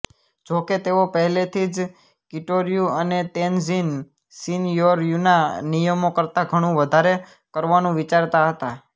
જોકે તેઓ પહેલેથી જ કિટોરયુ અને તેનઝિન શિનયોરયુના નિયમો કરતાં ઘણું વધારે કરવાનું વિચારતા હતાં